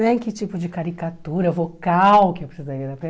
Né que tipo de caricatura vocal que eu precisaria dar para ele.